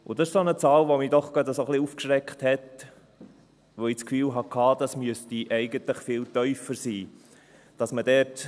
Das ist eine Zahl, die mich doch gerade ein bisschen aufgeschreckt hat, weil ich das Gefühl hatte, dass diese eigentlich viel tiefer sein müsste.